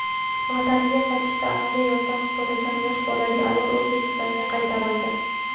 vataniga qaytishda amaliy yordam so‘ragan yosh bolali ayol O‘zbekistonga qaytarildi.